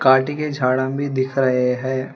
पाटी के झाड़ा भी दिख रहे हैं।